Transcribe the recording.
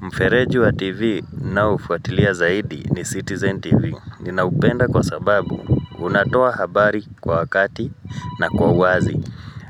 Mfereji wa TV ninaofuatilia zaidi ni Citizen TV Ninaupenda kwa sababu unatoa habari kwa wakati na kwa wazi